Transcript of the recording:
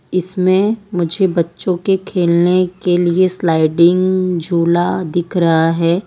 इसमें मुझे बच्चों के खेलने के लिए स्लाइडिंग झूला दिख रहा है।